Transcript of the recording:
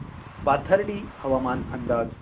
पाथर्डी हवामान अंदाज